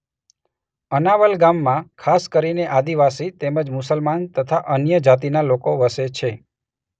અનાવલ ગામમાં ખાસ કરીને આદિવાસી તેમ જ મુસલમાન તથા અન્ય જાતિના લોકો વસે છે.